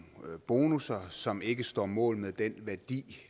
bonusser som ikke står mål med den værdi